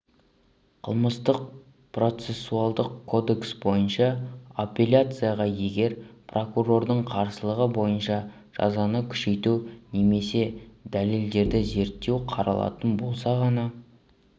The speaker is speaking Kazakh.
қылмыстық-процессуалдық кодекс бойынша апелляцияға егер прокурордың қарсылығы бойынша жазаны күшейту немесе дәлелдерді зерттеу қаралатын болса ғана